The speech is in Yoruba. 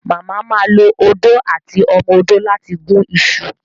mama má lọ Odó àti ọmọ odó lati gún iṣu